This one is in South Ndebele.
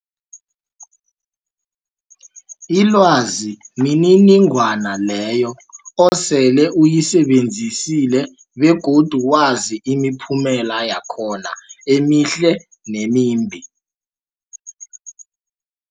Ilwazi mniningwana leyo osele uyisebenzisile begodu wazi imiphumela yakhona emihle nemimbi.